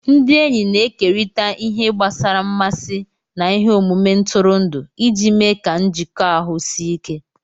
Ndị enyi na-ekerịta ihe gbasara mmasị na ihe omume ntụrụndụ iji mee ka njikọ ahụ sie ike